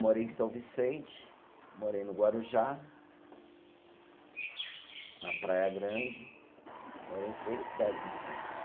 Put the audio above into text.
Morei em São Vicente, morei no Guarujá, na Praia Grande, morei em três cidades em Santos.